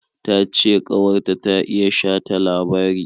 Ta ce ƙawar ta ta iya shata labari.